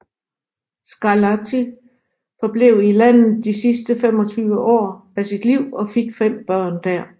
Scarlatti forblev i landet i de sidste 25 år af sit liv og fik fem børn der